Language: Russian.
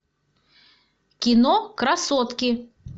кино красотки